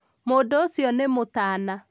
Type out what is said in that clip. mũndũ ũcio nĩ mũtana